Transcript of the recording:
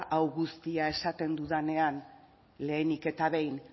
hau guztia esaten dudanean lehenik eta behin